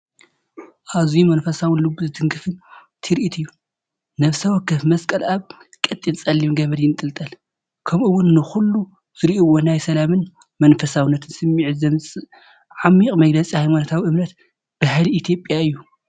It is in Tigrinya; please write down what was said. ኣዝዩ መንፈሳውን ልቢ ዝትንክፍን ትርኢት እዩ! ነፍሲ ወከፍ መስቀል ኣብ ቀጢን ጸሊም ገመድ ይንጠልጠል፣ .ከምኡ’ውን ንኹሉ ዝርእይዎ ናይ ሰላምን መንፈሳውነትን ስምዒት ዘምጽእ ዓሚቝ መግለጺ ሃይማኖታዊ እምነትን ባህሊ ኢትዮጵያን እዩ!